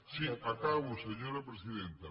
sí acabo senyora presidenta